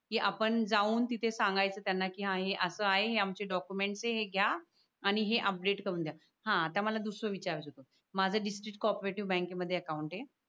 की आपण जाऊन तिथे सांगायचं त्यांना की आहे असं आहे आमची डॉक्युमेंट्स हे घ्या आणि हे अपडेट करून द्या हा आता मला दुसरा विचारच होत माझ डिस्ट्रिक्ट कोऑफरेटीव बँकेमध्ये अकावुंट आहे की आपण जाऊन तिथे सांगायचं त्यांना की आहे असं आहे आमची डॉक्युमेंट ते हे घ्या आणि हे अपडेट करून द्या